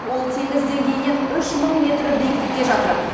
ол теңіз деңгейінен үш мың метр биіктікте жатыр